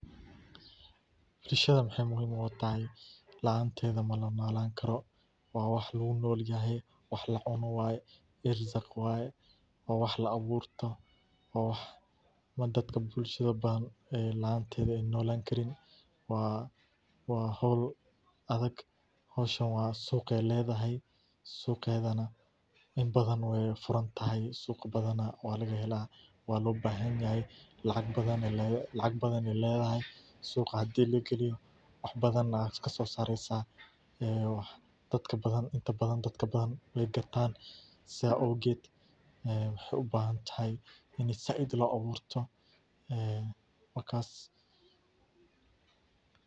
Beeraleyda Soomaaliyeed, gaar ahaan kuwa ku nool gobollada waqooyi-bari iyo xeebaha Koonfur-bari ee dalka, ayaa bilaabay inay si weyn u beeraan geedaha lowska cashewga, iyagoo ka faa’iideysanaya cimilada kulaylaha ee deegaanka, taasoo si gaar ah ugu habboon koritaanka noocan geedka ah, maadaama uu u baahan yahay kulayl joogto ah, roobab xadidan, iyo carro nadiif ah oo biyo-mareen leh; beeraleydu waxay marka hore doortaan abuur tayo sare leh.